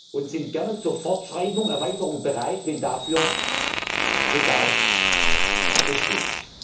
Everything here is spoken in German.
und sind gerne zur Fortschreibung und Erweiterung bereit, wenn dafür Bedarf besteht.